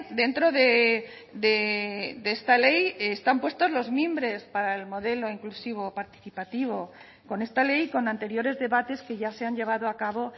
dentro de esta ley están puestos los mimbres para el modelo inclusivo participativo con esta ley y con anteriores debates que ya se han llevado a cabo